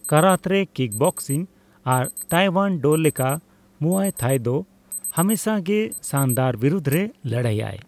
ᱠᱟᱨᱟᱛᱨᱮ, kickboxing ᱟᱨ taekwondo ᱞᱮᱠᱟ muay Thai ᱫᱚ ᱦᱟᱢᱮᱥᱟ ᱜᱮ ᱥᱟᱱᱫᱟᱨ ᱵᱤᱨᱩᱫᱷ ᱨᱮ ᱞᱟᱹᱲᱦᱟᱹᱭ ᱟᱭ ᱾